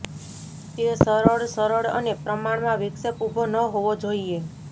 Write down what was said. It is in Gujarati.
તે સરળ સરળ અને પ્રમાણમાં વિક્ષેપ ઉભો ન હોવી જોઈએ